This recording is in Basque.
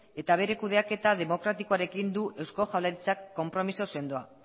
eta bere kudeaketa demokratikoarekin du eusko jaurlaritzak konpromezu sendoa